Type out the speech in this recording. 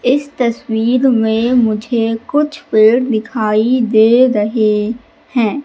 इस तस्वीर में मुझे कुछ पेड़ दिखाई दे रहे हैं।